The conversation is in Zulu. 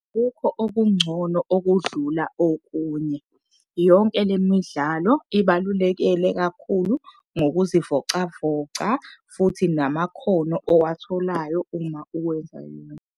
Akukho okungcono okudlula okunye. Yonke le midlalo ibalulekele kakhulu ngokuzivocavoca futhi namakhono owatholayo uma uwenza .